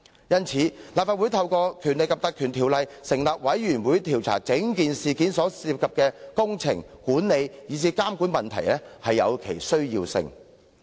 因此，立法會透過《條例》成立調查委員會調查事件涉及的工程、管理及監管問題，實在有其必要。